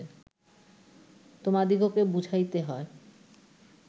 তোমাদিগকে বুঝাইতে হয়